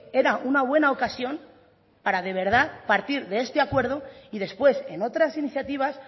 era una buena ocasión para de verdad partir de este acuerdo y después en otras iniciativas